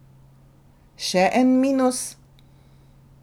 Še en minus?